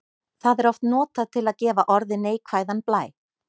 Það er oft notað til að gefa orði neikvæðan blæ.